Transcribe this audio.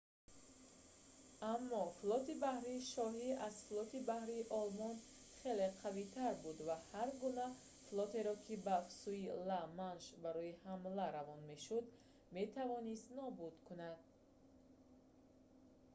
аммо флоти баҳрии шоҳӣ аз флоти баҳрии олмон кригсмарине хеле қавитар буд ва ҳар гуна флотеро ки ба сӯи ла-манш барои ҳамла равона мешуд метавонист нобуд кунад